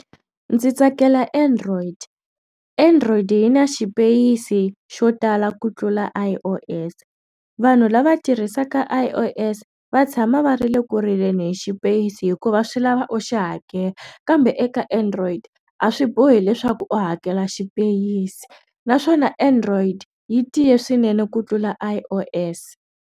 Ndzi tsakela Android Android yi na xipeyisi xo tala ku tlula I_O_S vanhu lava tirhisaka I_O_S va tshama va ri le ku rileni xipeyisi hikuva swi lava oxa hakela kambe eka android a swi bohi leswaku u hakela xipeyisi naswona android yi tiya swinene ku tlula I_O_S.